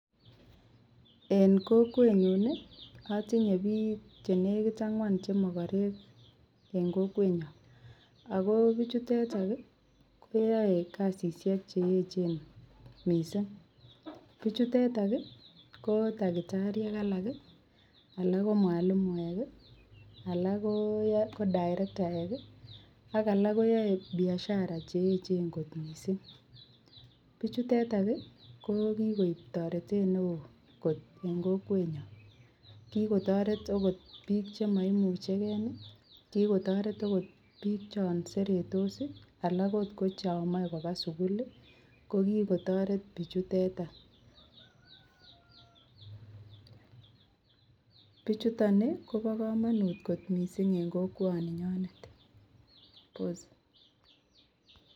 En Kokwenyun atinye Bik chenekit agnwan chenekit chemakarek en kokwenyon akobichuteton koyae kasishek cheyechen mising buchuteton KO takitariek alak alak KO mwalimuek alak KO darektaek ak alak koyae Biashara cheyechen kot mising buchuteton kokikoib taretet neon en kokwenyon kikotaret okot bik chemaimuche gei kikotaret okot bik chanseretos alak okot ko come Koba sukul kokikotaret buchuteton niton Ni Koba kamanut mising en kokwaninyonet